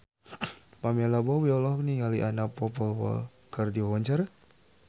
Pamela Bowie olohok ningali Anna Popplewell keur diwawancara